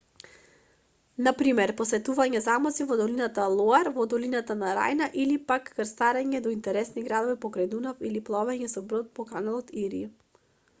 на пример посетување замоци во долината лоар во долината на рајна или пак крстарење до интересни градови покрај дунав или пловење со брод по каналот ири